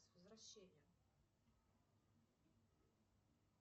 с возвращением